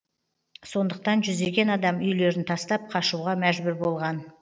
сондықтан жүздеген адам үйлерін тастап қашуға мәжбүр болған